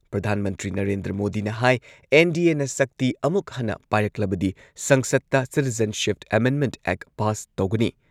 ꯄ꯭ꯔꯙꯥꯟ ꯃꯟꯇ꯭꯭ꯔꯤ ꯅꯔꯦꯟꯗ꯭ꯔ ꯃꯣꯗꯤꯅ ꯍꯥꯏ ꯑꯦꯟ.ꯗꯤ.ꯑꯦꯅ ꯁꯛꯇꯤ ꯑꯃꯨꯛ ꯍꯟꯅ ꯄꯥꯏꯔꯛꯂꯕꯗꯤ ꯁꯪꯁꯗꯇ ꯁꯤꯇꯤꯖꯦꯟꯁꯤꯞ ꯑꯦꯃꯦꯟꯗꯃꯦꯟꯠ ꯑꯦꯛ ꯄꯥꯁ ꯇꯧꯒꯅꯤ꯫